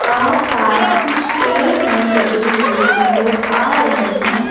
आसपास कुछ पेड़ भीं लगे हुए नज़र आ रहें हैं।